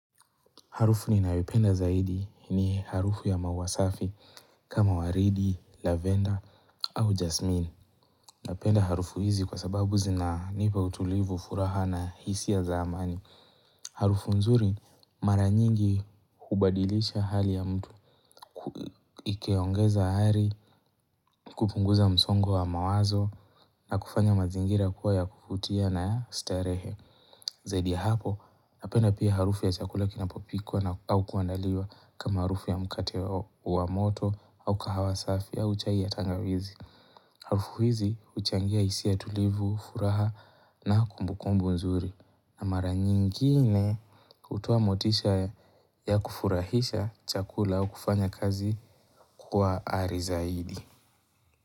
Harufu ninayoipenda zaidi ni harufu ya maua safi kama waridi, lavender au jasmine. Napenda harufu hizi kwa sababu zinanipa utulivu furaha na hisia za amani. Harufu nzuri mara nyingi hubadilisha hali ya mtu. Ikiongeza hari, kupunguza msongo wa mawazo na kufanya mazingira kuwa ya kuvutia na ya starehe. Zaidi ya hapo, napenda pia harufu ya chakula kinapopikwa na au kuandaliwa kama harufu ya mkate wa moto au kahawa safi au chai ya tangawizi. Harufu hizi huchangia hisia tulivu, furaha na kumbukumbu nzuri. Na mara nyingine kutoa motisha ya kufurahisha chakula au kufanya kazi kwa ari zaidi.